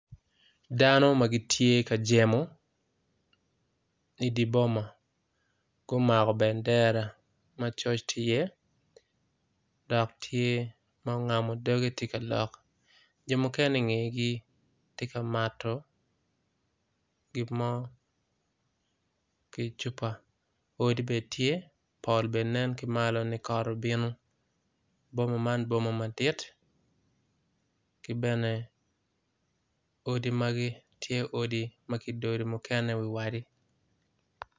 Dano magitye ka jemo i diboma gumako bendera macoc tye i ye dok tye ma ongamo doge tye ka lok jo mukene i ngegi tye ka mato gimo kicupa odi bene tye pol bene nen kimalo ni kot obino boma man tye boma madit kibene odi bene odi magi tye odi makidodo mukene wa i wadi.